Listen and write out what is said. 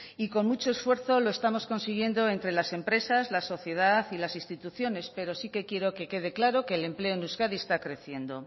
y con mucho esfuerzo lo estamos consiguiendo entre las empresas la sociedad y las instituciones pero sí que quiero que quede claro que el empleo en euskadi está creciendo